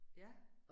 Ja